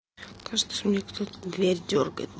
кажется мне кто то дверь дёргает